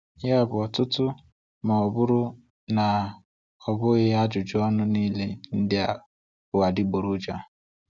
Ya bụ, ọtụtụ, ma ọ bụrụ na ọ bụghị ajụjụ ọnụ niile ndị a bụ adịgboroja.